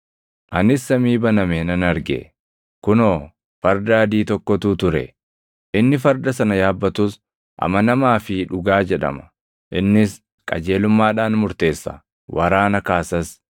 Anis samii baname nan arge; kunoo, farda adii tokkotu ture; inni farda sana yaabbatus Amanamaa fi Dhugaa jedhama. Innis qajeelummaadhaan murteessa; waraana kaasas.